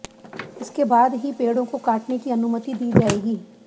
इसके बाद ही पेड़ों को काटने की अनुमति दी जाएगी